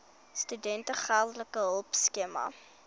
studente geldelike hulpskema